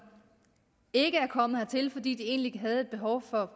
ikke er kommet hertil fordi de egentlig har et behov for